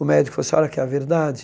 O médico falou, a senhora quer a verdade?